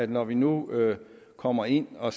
det når vi nu kommer ind og